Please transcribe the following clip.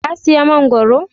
ka siya mangoro?